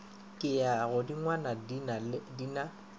ke ya godingwana di na